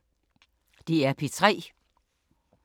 DR P3